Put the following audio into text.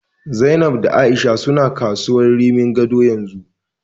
Zainab da A'isha suna kasuwar Rimin Gado yanzu.